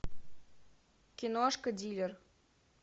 киношка дилер